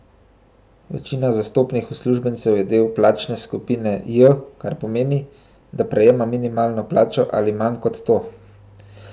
Večina zastopanih uslužbencev je del plačne skupine J, kar pomeni, da prejema minimalno plačo ali manj kot to.